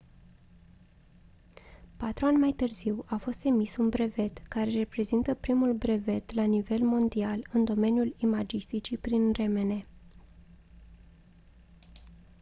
patru ani mai târziu a fost emis un brevet care reprezintă primul brevet la nivel mondial în domeniul imagisticii prin rmn